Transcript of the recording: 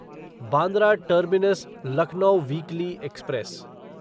Bandra terminus Lucknow weekly express